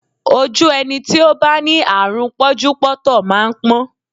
Ojú ẹni tí ó bá ní àrùn pọ́njúpọ́ntọ̀ máa ń pọ́n